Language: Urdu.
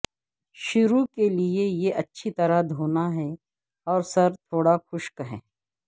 شروع کے لئے یہ اچھی طرح دھونا ہے اور سر تھوڑا خشک ہے